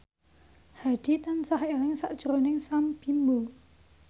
Hadi tansah eling sakjroning Sam Bimbo